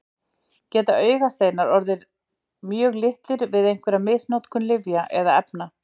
Geta augasteinar orðið mjög litlir við einhverja misnotkun lyfja eða efna?